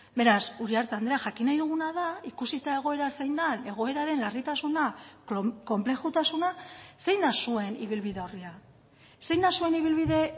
beraz uriarte andrea jakin nahi duguna da ikusita egoera zein den egoeraren larritasuna konplexutasuna zein da zuen ibilbide orria zein da zuen ibilbide